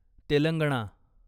Telangana